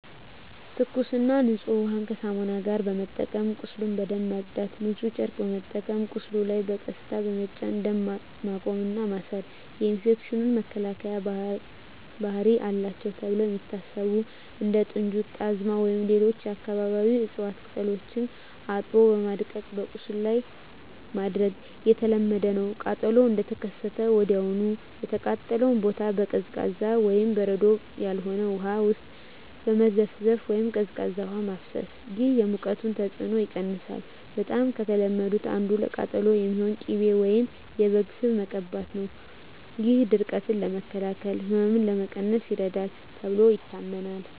ትኩስና ንጹህ ውሃን ከሳሙና ጋር በመጠቀም ቁስሉን በደንብ ማጽዳት። ንጹህ ጨርቅ በመጠቀም በቁስሉ ላይ በቀስታ በመጫን ደም ማቆም እና ማሰር። የኢንፌክሽን መከላከያ ባህሪ አላቸው ተብለው የሚታሰቡ እንደ ጥንጁት፣ ጣዝማ ወይም ሌሎች የአካባቢው እፅዋት ቅጠሎችን አጥቦ በማድቀቅ በቁስሉ ላይ ማድረግ የተለመደ ነው። ቃጠሎው እንደተከሰተ ወዲያውኑ የተቃጠለውን ቦታ በቀዝቃዛ (በበረዶ ያልሆነ) ውሃ ውስጥ መዘፍዘፍ ወይም ቀዝቃዛ ውሃ ማፍሰስ። ይህ የሙቀቱን ተጽዕኖ ይቀንሳል። በጣም ከተለመዱት አንዱ ለቃጠሎ የሚሆን ቅቤ ወይም የበግ ስብ መቀባት ነው። ይህ ድርቀትን ለመከላከል እና ህመምን ለመቀነስ ይረዳል ተብሎ ይታመናል።